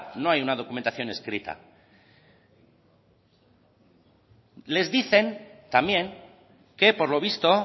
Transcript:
no hay una documentación escrita les dicen también que por lo visto